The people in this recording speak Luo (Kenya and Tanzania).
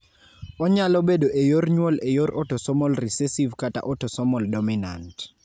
Onyalo bedo e yor nyuol e yor autosomal recessive kata autosomal dominant.